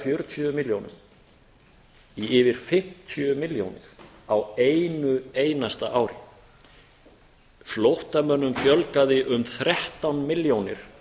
fjörutíu milljónum í yfir fimmtíu milljónir á einu einasta ári flóttamönnum fjölgaði um þrettán milljónir